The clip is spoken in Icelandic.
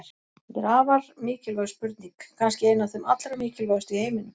Þetta er afar mikilvæg spurning, kannski ein af þeim allra mikilvægustu í heiminum!